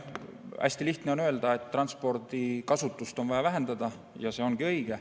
Hästi lihtne on öelda, et transpordikasutust on vaja vähendada, ja see ongi õige.